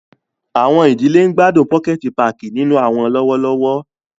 Awọn idile ń gbadun pokẹti pààki ninu awọn lọwọlọwọ.